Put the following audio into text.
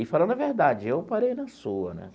E, falando a verdade, eu parei na sua, né?